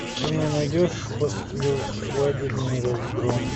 ты мне найдешь послесвадебный разгром